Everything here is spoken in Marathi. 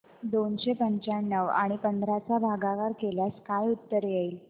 दोनशे पंच्याण्णव आणि पंधरा चा भागाकार केल्यास काय उत्तर येईल